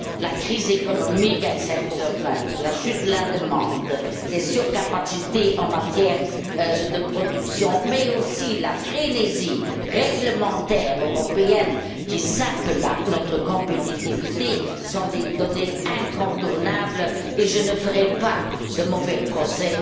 La crise économique exceptionnelle, la chute de la demande, les surcapacités en matière de production, mais aussi la frénésie réglementaire européenne qui sape notre compétitivité sont des données incontournables et je ne ferai pas de mauvais procès